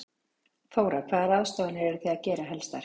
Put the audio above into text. Þóra: Hvaða ráðstafanir eru þið að gera helstar?